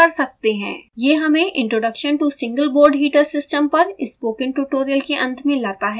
यह हमें introduction to single board heater system पर स्पोकन ट्यूटोरियल के अंत में लाता है